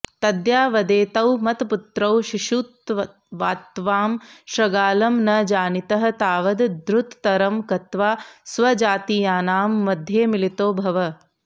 तद्यावदेतौ मत्पुत्रौ शिशुत्वात्त्वां शृगालं न जानीतः तावद् द्रुततरं गत्वा स्वजातीयानां मध्ये मिलितो भव